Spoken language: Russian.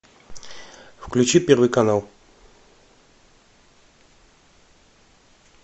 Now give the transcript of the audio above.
включи первый канал